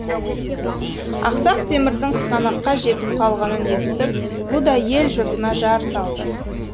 ақсақ темірдің сығанаққа жетіп қалғанын естіп бұ да ел жұртына жар салды